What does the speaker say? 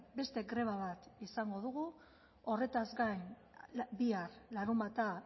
beste greba bat izango dugu horretaz gain bihar larunbata